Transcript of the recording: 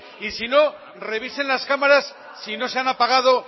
y si no revisen las cámaras si no se han apagado